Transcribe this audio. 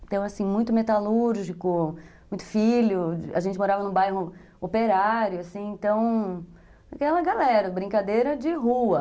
Então, assim, muito metalúrgico, muito filho, a gente morava num bairro operário, assim, então, aquela galera, brincadeira de rua.